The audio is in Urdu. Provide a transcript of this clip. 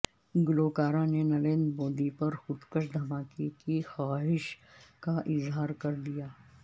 گلوکارہ نے نریندر مودی پر خودکش دھماکے کی خواہش کا اظہار کر دیا